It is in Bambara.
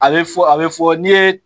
A be fɔ ,a be fɔ n'i ye